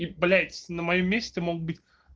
и блять на моем месте мог быть